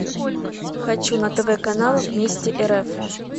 хочу на тв канал вместе рф